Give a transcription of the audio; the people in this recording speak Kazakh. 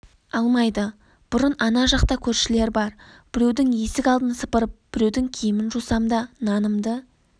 алмайды бұрын ана жақта көрішлер бар біреудің есік алдын сыпырып біреудің киімін жусам да нанымды